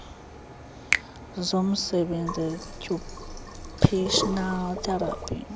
zomsebenzi occupational therapy